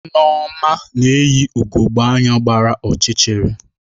Nneoma yi ugogbe anya gbara ọchịchịrị